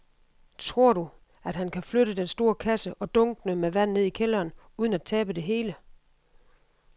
Tror du, at han kan flytte den store kasse og dunkene med vand ned i kælderen uden at tabe det hele?